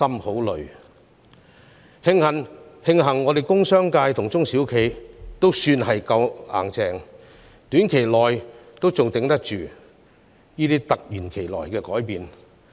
慶幸工商界和中小型企業也算堅強，在短期內仍能應付這些突如其來的改變。